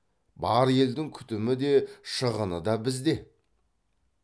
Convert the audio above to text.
бар елдің күтімі де шығыны да бізде